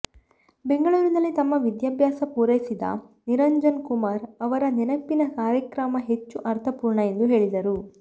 ಬೆಂಗಳೂರಿನಲ್ಲಿ ತಮ್ಮ ವಿದ್ಯಾಭ್ಯಾಸ ಪೂರೈಸಿದ ನಿರಂಜನ್ ಕುಮಾರ್ ಅವರ ನೆನಪಿನ ಕಾರ್ಯಕ್ರಮ ಹೆಚ್ಚು ಅರ್ಥಪೂರ್ಣ ಎಂದು ಹೇಳಿದರು